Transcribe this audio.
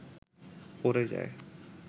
পড়ে যায়